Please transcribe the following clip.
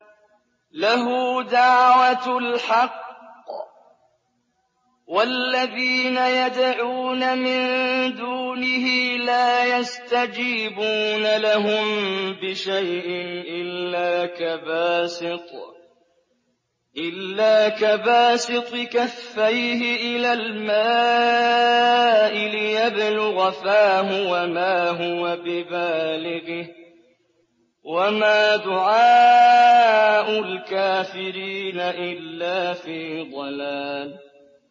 لَهُ دَعْوَةُ الْحَقِّ ۖ وَالَّذِينَ يَدْعُونَ مِن دُونِهِ لَا يَسْتَجِيبُونَ لَهُم بِشَيْءٍ إِلَّا كَبَاسِطِ كَفَّيْهِ إِلَى الْمَاءِ لِيَبْلُغَ فَاهُ وَمَا هُوَ بِبَالِغِهِ ۚ وَمَا دُعَاءُ الْكَافِرِينَ إِلَّا فِي ضَلَالٍ